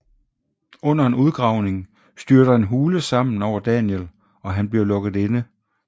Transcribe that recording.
Under en udgravning styrter en hule sammen over Daniel og han bliver lukket inde